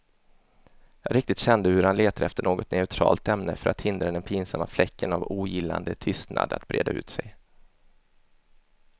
Jag riktigt kände hur han letade efter något neutralt ämne för att hindra den pinsamma fläcken av ogillande tystnad att breda ut sig.